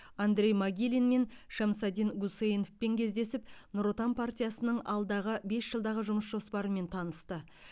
андрей могилин мен шамсадин гусейновпен кездесіп нұр отан партиясының алдағы бес жылдағы жұмыс жоспарымен танысты